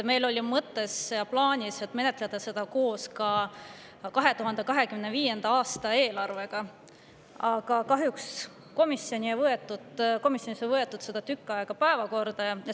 Meil oli mõttes ja plaanis menetleda seda koos 2025. aasta eelarvega, aga kahjuks komisjonis ei võetud seda tükk aega päevakorda.